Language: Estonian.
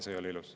See ei ole ilus.